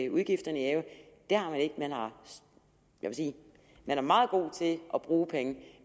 udgifterne i ave jeg vil sige at man er meget god til at bruge penge